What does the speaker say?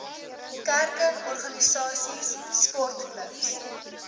kerke organisasies sportklubs